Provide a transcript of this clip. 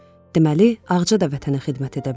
Deməli ağca da vətənə xidmət edə bilər.